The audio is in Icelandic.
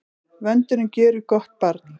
Vöndurinn gjörir gott barn.